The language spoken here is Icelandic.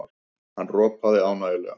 Hann ropaði ánægjulega.